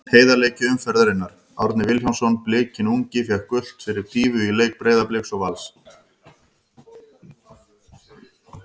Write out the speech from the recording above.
Heiðarleiki umferðarinnar: Árni Vilhjálmsson Blikinn ungi fékk gult fyrir dýfu í leik Breiðabliks og Vals.